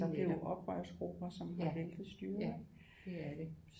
Altså det er jo oprørsgrupper som har væltet styret ikke